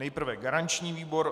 Nejprve garanční výbor.